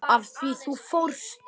Af því þú fórst.